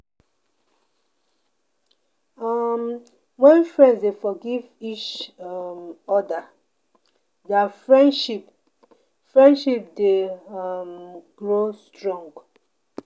um Wen friends dey forgive each um oda, dia friendship friendship dey um grow strong.